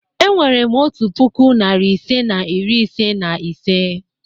Enwerem otu puku, narị ise na iri ise na ise.